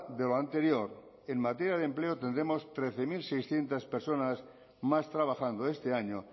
de lo anterior en materia de empleo tendremos trece mil seiscientos personas más trabajando este año